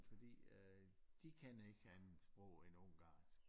Fordi at øh de kan ikke andet sprog end ungarnsk